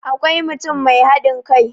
akwai mutum Mai haɗin kai